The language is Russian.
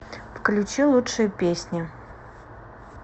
включи лучшие песни